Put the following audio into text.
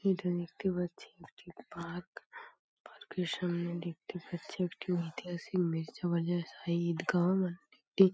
এটা দেখতে পাচ্ছি একটি পার্ক পার্ক -এর সামনে দেখতে পাচ্ছি একটি ঐতিহাসিক মীর্জাবাজার শাহী ইদ গাহ মান একটি --